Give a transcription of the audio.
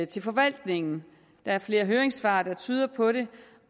til forvaltningen der er flere høringssvar der tyder på det